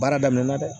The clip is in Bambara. Baara daminɛna dɛ